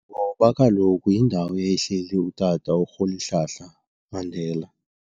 Ngoba kaloku yindawo eyayihleli utata uRholihlahla Mandela.